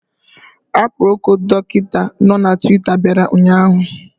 Aproko Dọkịta nọ na Twita bịara ụnyaahụ